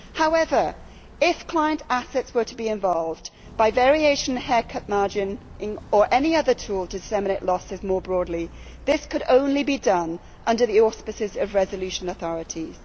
However, if client assets were to be involved, by variation haircut margin or any other tool to disseminate losses more broadly, this could only be done under the auspices of resolution authorities.